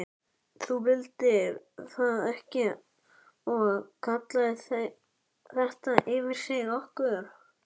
Þú vildir það ekki og kallaðir þetta yfir þig, okkur.